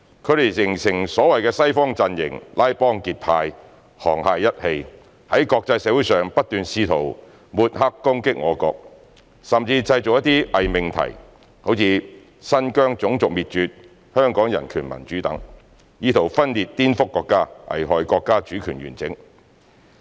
他們形成所謂的"西方陣營"，拉幫結派、沆瀣一氣，在國際社會上不斷試圖抹黑攻擊我國，甚至製造一些偽命題，如"新疆種族滅絕"、"香港人權民主"等，以圖分裂顛覆國家，危害國家主權完整。